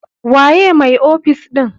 Waye mai ofis ɗin?